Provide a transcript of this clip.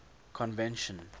convention